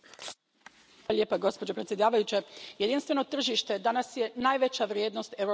Gospođo predsjedavajuća, jedinstveno tržište danas je najveća vrijednost europskih integracija.